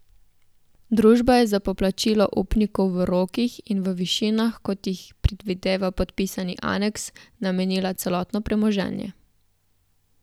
Družba je za poplačilo upnikov v rokih in v višinah, kot jih predvideva podpisani aneks, namenila celotno premoženje.